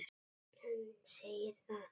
Hann segir þar